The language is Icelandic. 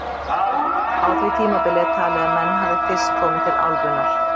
Á því tímabili er talið að menn hafi fyrst komið til álfunnar.